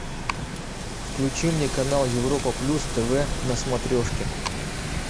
включи мне канал европа плюс тв на смотрешке